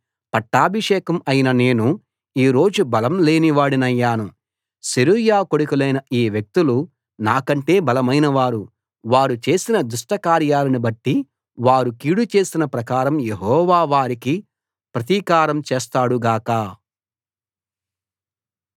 పట్టాభిషేకం అయిన నేను ఈ రోజు బలం లేనివాడినయ్యాను సెరూయా కొడులైన ఈ వ్యక్తులు నాకంటే బలమైనవారు వారు చేసిన దుష్టకార్యాలను బట్టి వారు కీడు చేసిన ప్రకారం యెహోవా వారికి ప్రతీకారం చేస్తాడు గాక